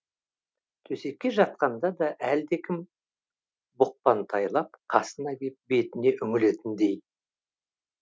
төсекке жатқанда да әлдекім бұқпантайлап қасына кеп бетіне үңілетіндей